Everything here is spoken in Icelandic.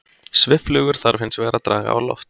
Svifflugur þarf hins vegar að draga á loft.